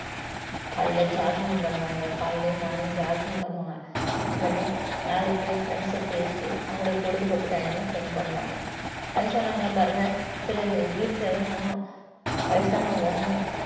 காலையில jogging பண்ணுவாங்க காலையிலேயே morning jogging பண்ணுவாங்க பண்ணி நாலு பேர் friends ஐ பேசி அவங்களுடைய பொழுதுபோக்கு time அ spend பண்ணுவாங்க வயசானவங்க எல்லாம் பாருங்க சில வீட்டுல எல்லாம் வயசானவங்க~